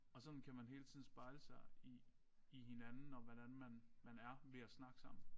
Og sådan kan man hele tiden spejle sig i i hinanden og hvordan man man er ved at snakke sammen